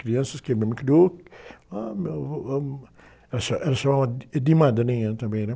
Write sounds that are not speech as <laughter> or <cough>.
Crianças que a minha mãe criou, ah, mas eu, <unintelligible> ela, <unintelligible> ela chamava de madrinha também, né?